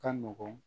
Ka nɔgɔn